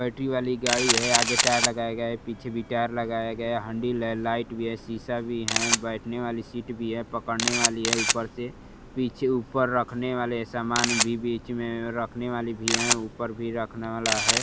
Battery वाली गाड़ी है। आगे टायर लगाया गया है पीछे भी टायर लगाया गया है। हंडिल है लाइट भी है। शीशा भी है। बैठने वाली सीट भी है। पकड़ने वाली है ऊपर से। पीछे ऊपर रखने वाले सामान भी बीच में रखने वाले भी हैं ऊपर भी रखने वाला है।